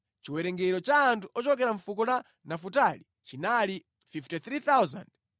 Chiwerengero cha anthu ochokera mʼfuko la Nafutali chinali 53,400.